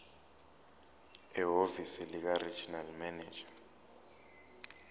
ehhovisi likaregional manager